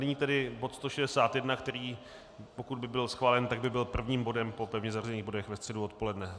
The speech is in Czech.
Nyní tedy bod 161, který, pokud by byl schválen, tak by byl prvním bodem po pevně zařazených bodech ve středu odpoledne.